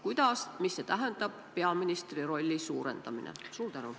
Kuidas, mis tähendab peaministri rolli suurendamine?